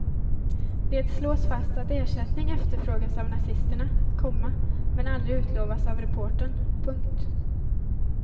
Det slås fast att ersättning efterfrågats av nazisterna, komma men aldrig utlovats av reportern. punkt